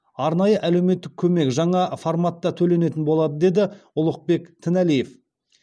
арнайы әлеуметтік көмек жаңа форматта төленетін болады деді ұлықбек тіналиев